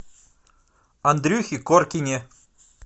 андрюхе коркине